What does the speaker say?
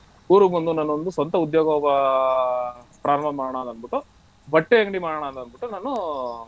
ಊರಿಗೆ ಬಂದು ನಾನು ಒಂದು ಸ್ವಂತ ಉದ್ಯೋಗ ಆ ಪ್ರಾರಂಭ ಮಾಡೋಣ ಅಂದ್ಬಿಟ್ಟು ಬಟ್ಟೆ ಅಂಗಡಿ ಮಾಡೋಣ ಅಂದ್ಬಿಟ್ಟು ನಾನು.